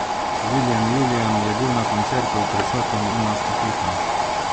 Viljem Julijan je bil na koncetu prisoten in nas poslušal.